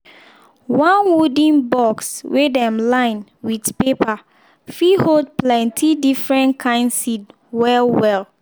one wooden box wey dem line with paper fit hold plenti different kind seed well-well.